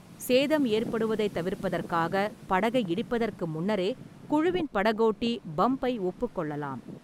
சேதம் ஏற்படுவதைத் தவிர்ப்பதற்காக, படகை இடிப்பதற்கு முன்னரே குழுவின் படகோட்டி பம்பை ஒப்புக்கொள்ளலாம்.